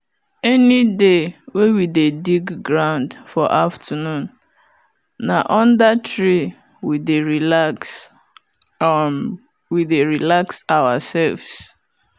any day we dey dig ground for afternoon na under tree we dey relax um ourselves